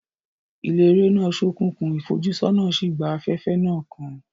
Ilé eré náà ṣókùnkùn, ìfojúsọ́nà sì gba afẹ́fẹ́ náà kan.